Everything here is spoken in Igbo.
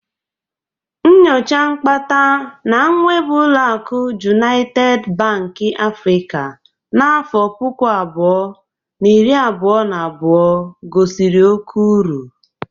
Nyocha nkpata na nwebụ oluakụ Jụnaịted Banki Afrịka n'afọ puku abụọ, na iri abụọ na abụo gosiri oke uru.